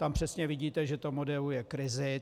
Tam přesně vidíte, že to modeluje krizi.